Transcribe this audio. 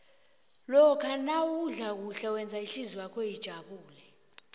lokha nawudla kuhle wenza ihlizwakho ijabule